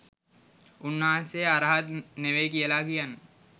උන්වහන්සේ අරහත් නෙවෙයි කියලා කියන්න